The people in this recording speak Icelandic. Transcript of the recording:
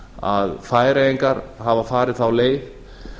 að færeyingar hafa farið þá leið